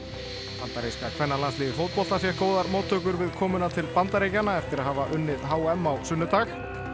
bandaríska kvennalandsliðið í fótbolta fékk góðar móttökur við komuna til Bandaríkjanna eftir að hafa unnið h m á sunnudag og